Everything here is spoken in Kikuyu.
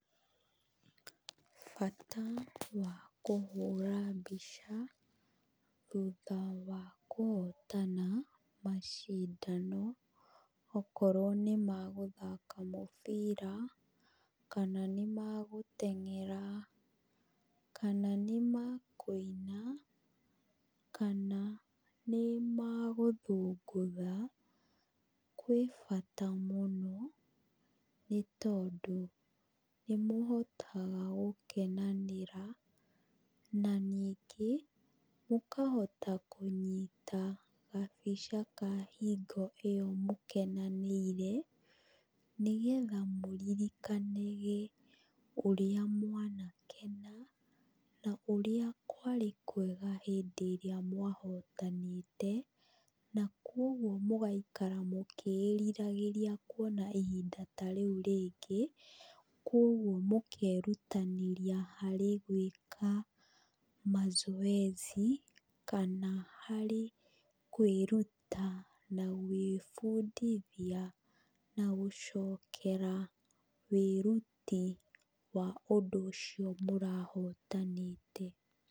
Bata wa kũhũra mbica, thutha wa kũhotana macindano, okorwo nĩ magũthaka mũbira, kana nĩ ma gũteng'era, kana nĩ ma kũina, kana nĩ magũthũngũtha, kwĩ bata mũno, nĩ tondũ nĩ mũhotaga gũkenanĩra, na ningĩ mũkahota kũnyita gabica ka hingo ĩyo mũkenanĩire, nĩ getha mũririkanage ũríĩ mwanakena, na ũrĩa kwarĩ kwega hĩndĩ ĩrĩa mwahotanĩte, na kuũguo mũgaikara mũkĩĩriragĩria kuona ihinda ta rĩu rĩngĩ. Kuũguo mũkerutanĩria harĩ gwĩka macoeci, kana harĩ kwĩruta na gwĩbundithia, na gũcokera wĩruti wa ũndũ ũcio mũrahotanĩte.